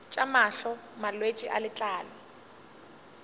tša mahlo malwetse a letlalo